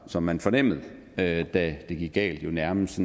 som man fornemmede da det gik galt nærmest